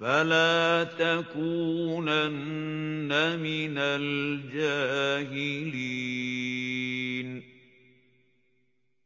فَلَا تَكُونَنَّ مِنَ الْجَاهِلِينَ